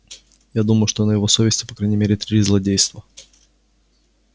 я думаю что на его совести по крайней мере три злодейства